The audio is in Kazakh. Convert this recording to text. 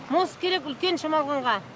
мост керек үлкен шамалғанға